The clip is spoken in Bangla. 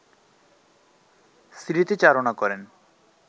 স্মৃতিচারণা করেন